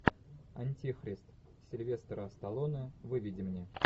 антихрист сильвестра сталлоне выведи мне